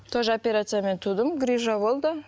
тоже операциямен тудым грыжа болды